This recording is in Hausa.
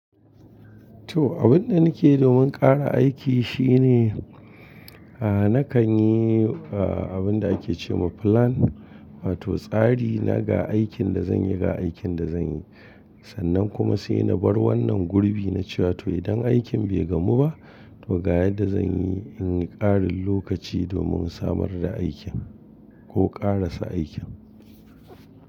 To, abun da nake domin ƙara aiki shine, a'a nakan yi abun da ake ce ma plan wato tsari na ga aikin da zanyi ga aikin da zanyi. Sannan kuma sai na bar wannan gurbi na cewa to idan aikin bai gamu ba, to ga yadda zanyi in yi ƙarin lokaci domin samar da aikin ko ƙarasa aikin.